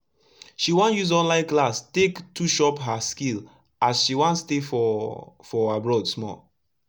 she use online class take tush up her skill as she wan stay for for abroad small